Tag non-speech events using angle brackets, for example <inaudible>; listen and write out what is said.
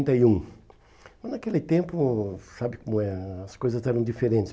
<unintelligible> e um Naquele tempo, sabe como é né, as coisas eram diferentes.